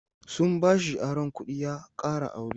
Sun bashi aron kuɗi ya ƙara aure.